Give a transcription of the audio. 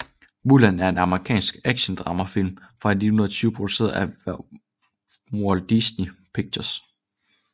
Mulan er en amerikansk actiondramafilm fra 2020 produceret af Walt Disney Pictures